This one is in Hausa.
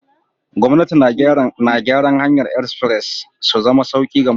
Gwamnati na gyaran hanyar express su zama sauki ga mutane.